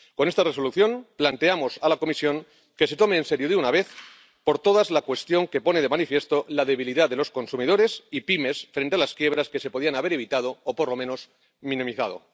Con esta Resolución planteamos a la Comisión que se tome en serio de una vez por todas la cuestión, que pone de manifiesto la debilidad de los consumidores y pymes frente a las quiebras que se podían haber evitado o, por lo menos, minimizado.